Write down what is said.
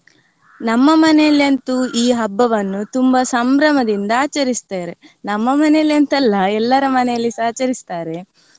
ನಮ್ಮ ಮನೇಲಿ ಅಂತೂ ಈ ಹಬ್ಬವನ್ನು ತುಂಬಾ ಸಂಭ್ರಮದಿಂದ ಆಚರಿಸ್ತಾರೆ, ನಮ್ಮ ಮನೆಯಲ್ಲಿ ಅಂತಲ್ಲ ಎಲ್ಲರ ಮನೆಯಲ್ಲಿಸಾ ಆಚರಿಸ್ತಾರೆ.